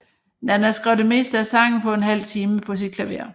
Nanna skrev det meste af sangen på en halv time på sit klaver